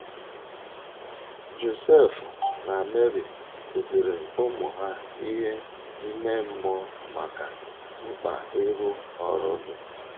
Josef na Meri kụziiri ụmụ ha ihe ime mmụọ nakwa mkpa ịrụ ọrụ dị